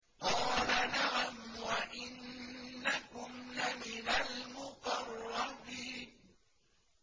قَالَ نَعَمْ وَإِنَّكُمْ لَمِنَ الْمُقَرَّبِينَ